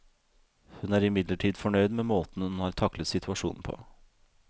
Hun er imidlertid fornøyd med måten hun har taklet situasjonen på.